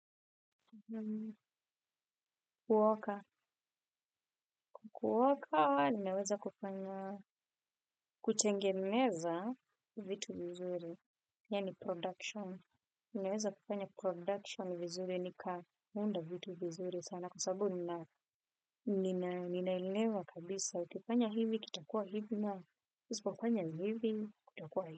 Kuoka, kuoka ninaweza kufanya, kutengeneza vitu vizuri, yaani production, ninaweza kufanya production vizuri, nikaunda vitu vizuri sana, kwa sababu ninaelewa kabisa, ukifanya hivi kutakuwa hivi, na usipofanya hivi kutakuwa hivi.